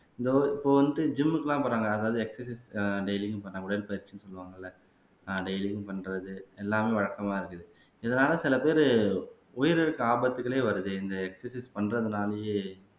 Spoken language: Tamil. இதோ இப்ப வந்துட்டு ஜிம்க்கு எல்லாம் போறாங்க அதாவது எக்ஸர்சைஸ் டெய்லின்னு பார்த்தா உடற்பயிற்சின்னு சொல்லுவாங்க இல்லை ஆஹ் டெய்லியும் பண்றது எல்லாமே வழக்கமா இருக்குது இதனால சில பேரு உயிரிழக்க ஆபத்துக்களே வருது இந்த எக்ஸர்சைஸ் பண்றதுனாலயே